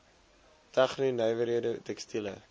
tegno nywerhede tekstiele